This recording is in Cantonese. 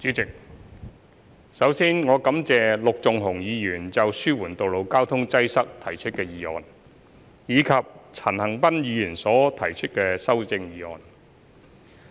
主席，首先，我感謝陸頌雄議員就"紓緩道路交通擠塞"提出的議案，以及陳恒鑌議員所提出的修正案。